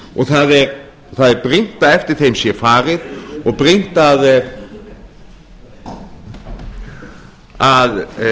og það er brýnt að eftir þeim sé farið og brýnt að